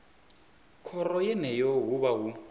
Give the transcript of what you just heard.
khoro yeneyo hu vha hu